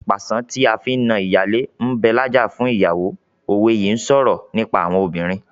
"Pàṣán tí a fi na ìyálé ń bẹ lájà fún ìyàwó " òwe yìí ń sọ̀rọ̀ nípa àwọn obìnrin.